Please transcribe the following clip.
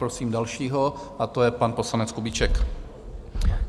Prosím dalšího a to je pan poslanec Kubíček.